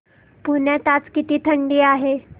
पुण्यात आज किती थंडी आहे